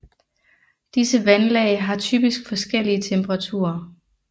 Disse vandlag har typisk forskellige temperaturer